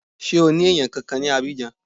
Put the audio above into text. Ṣé o ní èèyàn kankan ní Abidjan